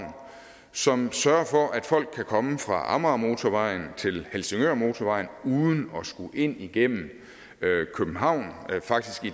som sørger for at folk kommer fra amagermotorvejen til helsingørmotorvejen uden at skulle ind igennem københavn faktisk skal